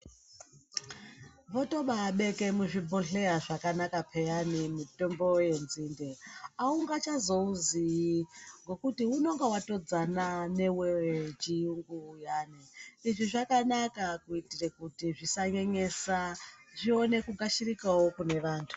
Votobabeke muzvibhodhleya zvakanaka peyani mitombo yenzinde. Haungatozvouziyi ngekuti unonga vatodzana nevechiyungu uyani. Izvi zvakanaka kuitira kuti zvisanyenyesa zvione kugashirikavo kune vantu.